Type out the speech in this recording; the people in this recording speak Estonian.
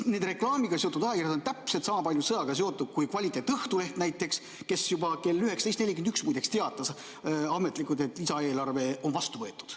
Need reklaamiga seotud ajakirjad on täpselt sama palju sõjaga seotud kui näiteks kvaliteetne Õhtuleht, kes juba kell 19.41, muideks, teatas ametlikult, et lisaeelarve on vastu võetud.